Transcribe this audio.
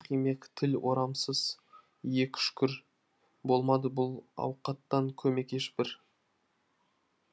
тұмсық имек тіл орамсыз иек үшкір болмады бұл ауқаттан көмек ешбір